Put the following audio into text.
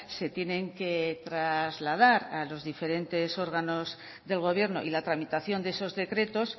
se tienen que trasladar a los diferentes órganos del gobierno y la tramitación de esos decretos